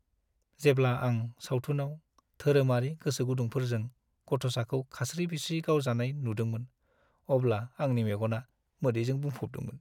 जेब्ला आं सावथुनाव धोरोमारि गोसोगुदुंफोरजों गथ'साखौ खास्रि-बिस्रि गावजानाय नुदोंमोन अब्ला आंनि मेगना मोदैजों बुंफबदोंमोन।